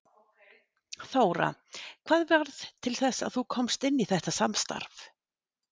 Þóra: Hvað varð til þess að þú komst inn í þetta samstarf?